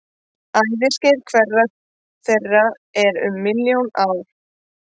Æviskeið hverrar þeirra er um milljón ár.